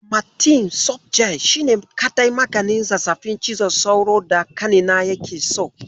Amatem sofjel shine kaɗai maganin zazzaɓin cizon sauron da ƙanina yake so.